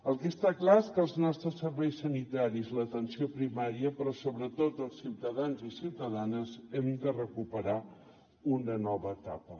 el que està clar és que els nostres serveis sanitaris l’atenció primària però sobretot els ciutadans i ciutadanes hem de recuperar una nova etapa